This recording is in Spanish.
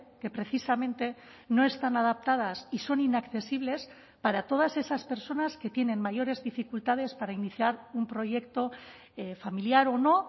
que precisamente no están adaptadas y son inaccesibles para todas esas personas que tienen mayores dificultades para iniciar un proyecto familiar o no